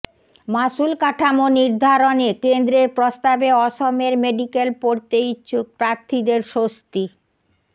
মাশুল কাঠামো নির্ধারণে কেন্দ্ৰের প্ৰস্তাবে অসমের মেডিক্যাল পড়তে ইচ্ছুক প্ৰার্থীদের স্বস্তি